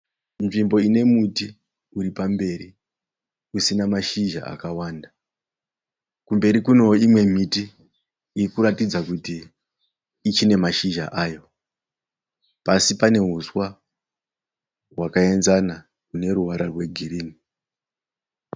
Nzvimbo ine muti uri pamberi usina mashizha akawanda. Kumberi kunewo imwewo miti iri kutaridza kuti ichine mashizha ayo. Pasi pane huswa hwakaenzana hune ruvara rwegirini.